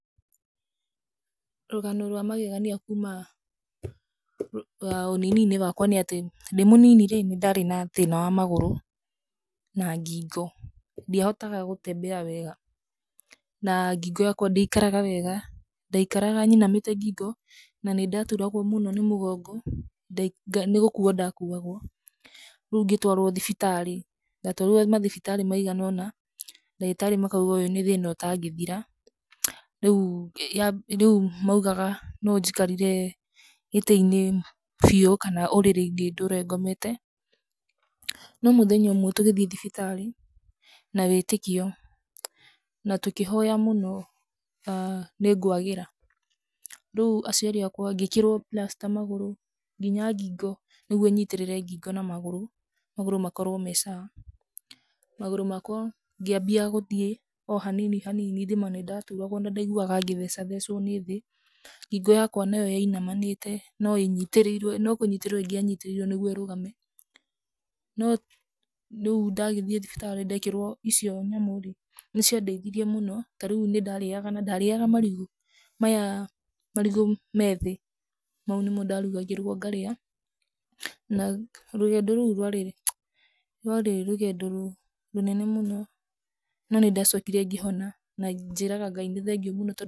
Rũgano rwa magegania kuuma rwa ũnini-inĩ wakwa nĩ atĩ, ndĩ mũnini rĩ, nĩ ndarĩ na thĩna wa magũrũ na ngingo. Ndiahotaga gũtembea wega, na ngingo yakwa ndĩaikaraga wega. Ndaikaraga nyinamĩte ngingo na nĩ ndaturagwo mũno nĩ mũgongo, nĩ gũkuo ndakuagwo, rĩu ngĩtwarwo thibitarĩ. Ndatwarirwo mathibitarĩ maigana ũna, ndagĩtarĩ makauga ũyũ nĩ thĩna ũtangĩthira. Rĩu, rĩu maugaga no njikarire gĩtĩ-inĩ biũ kana ũrĩrĩ-inĩ ndũre ngomete. No mũthenya ũmwe tũgĩthiĩ thibitarĩ na wĩĩtĩkio na tũkĩhoya mũno nĩ ngwagĩra. Rĩu aciari akwa, ngĩĩkĩrwo plaster magũrũ, nginya ngingo nĩguo nyitĩrĩre ngingo na magũrũ, magũrũ makorwo me sawa . Magũrũ makwa ngĩambia gũthiĩ o hanini hanini thima nĩ ndaturagwo na ndaiguaga ngĩthecathecwo nĩ thĩ. Ngingo yakwa nayo yainamanĩte, no ĩnyitĩrĩirwo, no kũnyitĩrĩirwo ingĩanyitĩrĩirwo nĩguo rũgame. No rĩu ndagĩthiĩ thibitarĩ ndeekĩrwo icio nyamũ rĩ, nĩ ciandeithirie mũno. Ta rĩu nĩ ndarĩaga na ndarĩaga marigũ maya marigũ meethi, mau nĩ mo ndarugagĩrwo ngarĩa na rũgendo rũu rwarĩ, rwarĩ rũgendo rũnene mũno na nĩ ndacokire ngĩhona, na njĩraga Ngai nĩ thengiũ mũno.